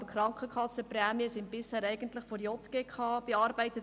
Aber die Krankenkassenprämien wurden bisher eigentlich von der JGK bearbeitet.